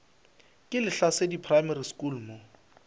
ke lehlasedi primary school mo